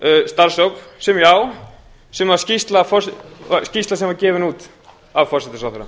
starfshóps sem skýrsla sem var gefin út af forsætisráðherra